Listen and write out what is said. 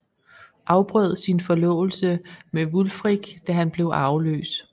Afbrød sin forlovelse med Wulfric da han blev arveløs